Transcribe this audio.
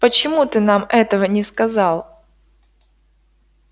почему ты нам этого не сказал